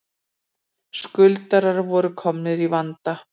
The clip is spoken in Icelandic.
Skuldarar voru komnir í vanda